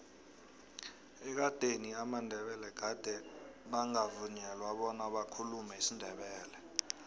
ekadeni amandebele gade bangavunyelwa bona bakhulume isindebele